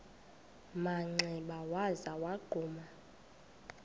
manxeba waza wagquma